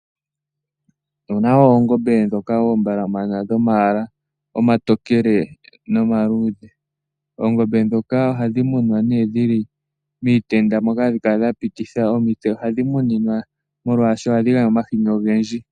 Opu na oongombe ndhoka dhomayala omatokele nomaluudhe. Oongombe ndhoka ohadhi munwa nee dhi li miitenda moka hadhi kala dha pititha mo omitse. Ohadhi muninwa molwaashoka ohadhi gandja omahini ogendji.